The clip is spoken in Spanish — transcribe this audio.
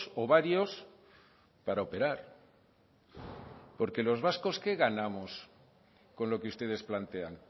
o varios para operar porque los vascos qué ganamos con lo que ustedes plantean